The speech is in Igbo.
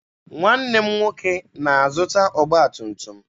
Nwanne m nwoke na-azụta ọgba tum tum.